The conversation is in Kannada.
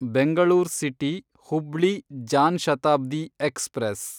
Bengaluru city Hubli Jan Shatabdi express